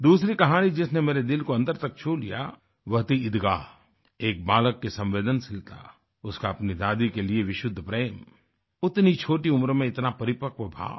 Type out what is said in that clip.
दूसरी कहानी जिसने मेरे दिल को अंदर तक छू लिया वह थी ईदगाह एक बालक की संवेदनशीलता उसका अपनी दादी के लिए विशुद्ध प्रेम उतनी छोटी उम्र में इतना परिपक्व भाव